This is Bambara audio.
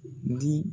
Di